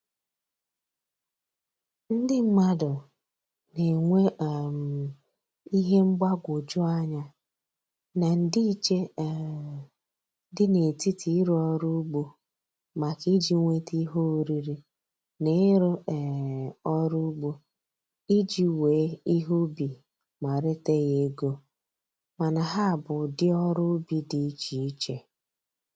Ndị mmadụ na-enwe um ihe mgbagwoju anya na ndịiche um dị n'etiti ịrụ ọrụ ugbo maka iji nwete ihe oriri na ịrụ um ọrụ ugbo iji wee ihe ubi ma reta ya ego, mana ha bụ ụdị ọrụ ubi dị iche iche